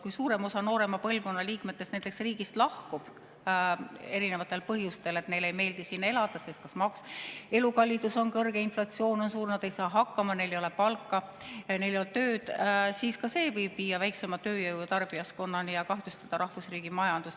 Kui suurem osa nooremast põlvkonnast riigist lahkub erinevatel põhjustel – neile ei meeldi siin elada, sest elukallidus on kõrge, inflatsioon on suur, nad ei saa hakkama, neil ei ole palka või neil ei ole tööd –, siis see võib viia väiksema tööjõu ja tarbijaskonnani ning kahjustada rahvusriigi majandust.